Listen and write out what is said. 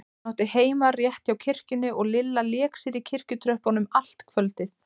Hún átti heima rétt hjá kirkjunni og Lilla lék sér í kirkjutröppunum allt kvöldið.